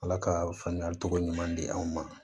Ala ka faamuyali cogo ɲuman di aw ma